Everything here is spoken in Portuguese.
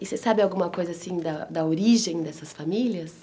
E você sabe alguma coisa assim da da origem dessas famílias?